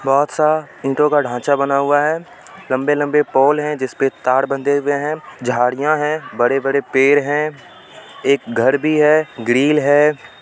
बहोत सा ईटों का ढांचा बना हुआ है लम्बे-लम्बे पोल है जिसपे तार बंधे हुए है झाडिया है बड़े-बड़े पेड़ है एक घर भी है ग्रिल है।